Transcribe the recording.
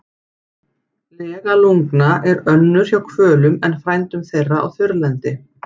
Lega lungna er önnur hjá hvölum en frændum þeirra á þurrlendi.